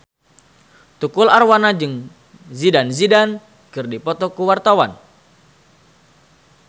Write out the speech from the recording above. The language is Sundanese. Tukul Arwana jeung Zidane Zidane keur dipoto ku wartawan